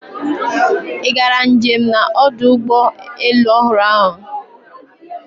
Ị gara njem na ọdụ ụgbọ elu ọhụrụ ahụ